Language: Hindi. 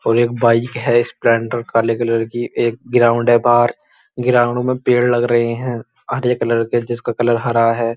और एक बाइक है स्प्लेंडर काले कलर की। एक ग्राउंड है बाहर। ग्राउंड में पेड़ लग रहे हैं हरे कलर के जिसका कलर हरा है।